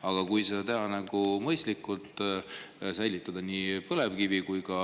Aga kui seda teha mõistlikult, säilitada nii põlevkivi kui ka